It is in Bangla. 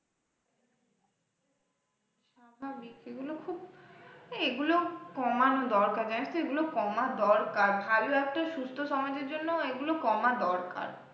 স্বাভাবিক সেগুলো খুব আহ এগুলো কমানো দরকার জানিস তো, এগুলো কমা দরকার ভালো একটা সুস্থ সমাজের জন্য এগুলো কমা দরকার।